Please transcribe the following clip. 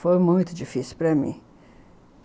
Foi muito difícil para mim.